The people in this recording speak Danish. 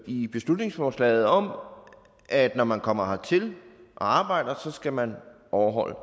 i beslutningsforslaget om at når man kommer hertil og arbejder så skal man overholde